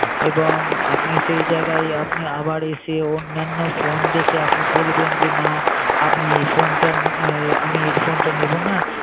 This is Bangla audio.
এবং আপনি সেই জায়গায় আপনি আবার এসে অন্যান্য phone দেখে আপনি বলবেন যে না আপনি এই phone টা আমি এই phone টা নেবো না